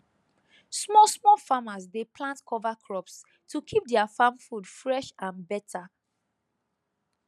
smallsmall farmers dey plant cover crops to keep their farm food fresh and better